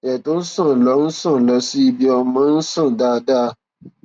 ẹjẹ tó ń ṣàn lọ ń ṣàn lọ sí ibiọmọ ń ṣàn dáadáa